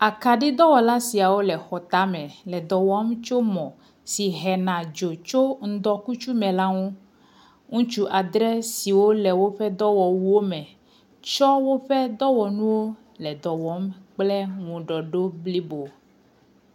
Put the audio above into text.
Akaɖidɔwɔla siawo le xɔtame le dɔ wɔm tso mɔ si hena do tso ŋdɔkutsu me la ŋu. Ŋutsu adre siwo le woƒe dɔwɔwuwo me tsɔ woƒe dɔwɔnuwo le dɔ wɔm kple ŋuɖɔɖi blibo.